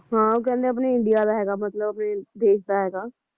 ਹਾਂ ਉਹ ਕਹਿੰਦੇ ਆਪਣੇ India ਦਾ ਹੈਗਾ ਮਤਲਬ ਫੇਰ ਦੇਸ਼ ਦਾ ਹੈਗਾ